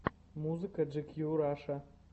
музыка джикью раша